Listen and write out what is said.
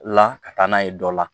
La ka taa n'a ye dɔ la